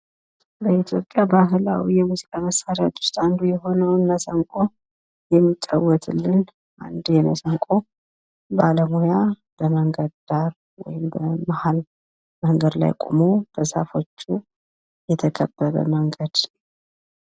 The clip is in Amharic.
በኢትዮጵያ ባህላዊ የሙዚቃ መሳሪያ ዉስጥ አንዱ የሆነዉ መሰንቆ የሚጫወትልን አንድ የመሰንቆ ባለሙያ ከመንገድ ዳር ወይም በመሀል መንገድ ላይ ቆሞ በዛፎቹ የተከበበ መንገድ።